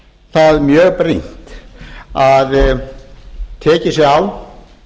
það mjög brýnt að tekið sé á